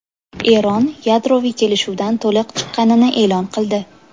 Eron yadroviy kelishuvdan to‘liq chiqqanini e’lon qildi.